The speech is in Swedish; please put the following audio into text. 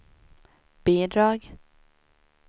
bidrag